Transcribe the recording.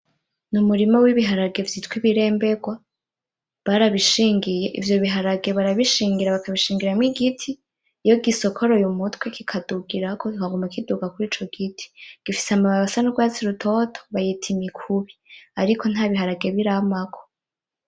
Ni umurima w'ibiharage vy'itwa ibiremberwa barabishingiye, ivyo biharage barabishingira bakabishingiramwo igiti iyo gisokoroye umutwe kikadugirako kikaguma kidugira kurico giti bifise amababi asa n'urwatsi rutoto bayita imikubi ariko nta biharage biramako.